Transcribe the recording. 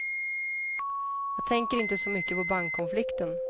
Jag tänker inte så mycket på bankkonflikten.